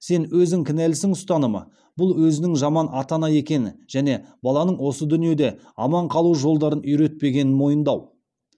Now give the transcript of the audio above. сен өзің кінәлісің ұстанымы бұл өзінің жаман ата ана екенін және баланың осы дүниеде аман қалу жолдарын үйретпегенін мойындау